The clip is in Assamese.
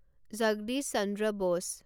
জগদীশ চন্দ্ৰ ব'ছ